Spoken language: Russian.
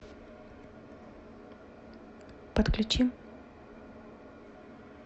подключи